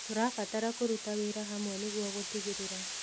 Tũrabatara kũruta wĩra hamwe nĩguo gũtigĩrĩra